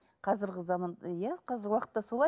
қазіргі заман иә қазіргі уақытта солай